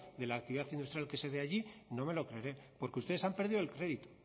de la actividad industrial que allí no me lo creeré porque ustedes han perdido el crédito